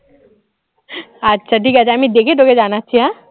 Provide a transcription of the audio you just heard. আচ্ছা ঠিক আছে আমি দেখে তোকে জানাচ্ছি হ্যাঁ